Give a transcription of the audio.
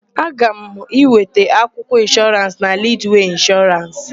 Aga m aga ịweta akwụkwọ ịnshọrans na Lidwee Ịnshọrans.